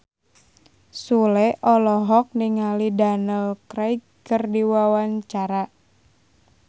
Sule olohok ningali Daniel Craig keur diwawancara